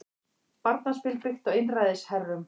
Barnaspil byggt á einræðisherrum